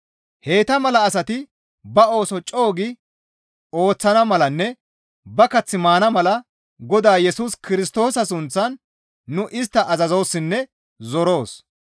Heyta mala asati ba ooso co7u gi ooththana malanne ba kath maana mala Godaa Yesus Kirstoosa sunththan nu istta azazoossinne zoroos.